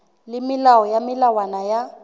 le melao le melawana ya